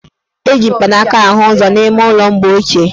Eji mpanaaka ahụ ụzọ n' ime ụlọ mgbe ochie.